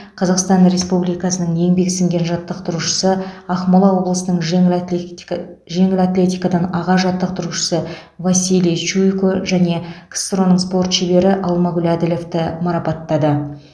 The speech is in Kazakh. қазақстан республикасының еңбегі сіңген жаттықтырушысы ақмола облысының жеңіл атлетика жеңіл атлетикадан аға жаттықтырушысы василий чуйко және ксро ның спорт шебері алмагүл әділовті марапаттады